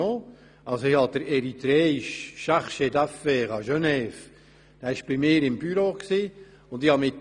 Ich habe den eritreischen Chargé d’affaires in Genf bei mir im Büro ge habt.